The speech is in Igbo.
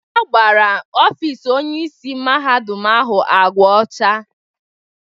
Agbara ọfis Onyeisi Mahadum ahụ ágwá ọcha.